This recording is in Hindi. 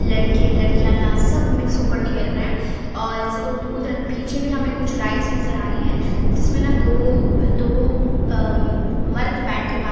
लड़के लड़कियां डांस सब मिक्स होकर खेल रहा है और उ उधर पीछे भी हमें कुछ राइट्स नजर आ रही है जिसमें ना दो दो अ मर्द बैठकर बात--